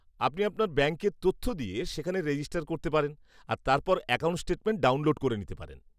আপনি আপনার ব্যাংকের তথ্য দিয়ে সেখানে রেজিস্টার করতে পারেন আর তারপর অ্যাকাউন্ট স্টেটমেন্ট ডাউনলোড করে নিতে পারেন।